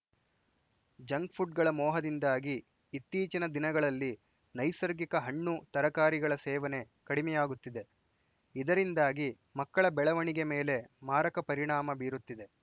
junk ಪುಡ್‌ಗಳ ಮೋಹದಿಂದಾಗಿ ಇತ್ತೀಚಿನ ದಿನಗಳಲ್ಲಿ ನೈಸರ್ಗಿಕ ಹಣ್ಣು ತರಕಾರಿಗಳ ಸೇವನೆ ಕಡಿಮೆಯಾಗುತ್ತಿದೆ ಇದರಿಂದಾಗಿ ಮಕ್ಕಳ ಬೆಳವಣಿಗೆ ಮೇಲೆ ಮಾರಕ ಪರಿಣಾಮ ಬೀರುತ್ತಿದೆ